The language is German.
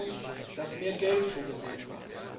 Wichtig war uns, dass mehr Geld vorgesehen war.